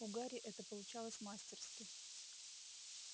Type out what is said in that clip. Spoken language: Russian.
у гарри это получалось мастерски